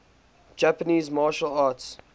japanese martial arts